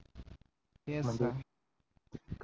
तेच तर